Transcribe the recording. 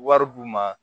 Wari d'u ma